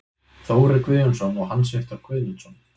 Þórir Guðjónsson og Hans Viktor Guðmundsson